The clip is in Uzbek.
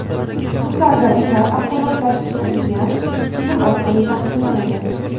Sudlarda ishlar avtomatlashtirilgan tizim orqali taqsimlanadi.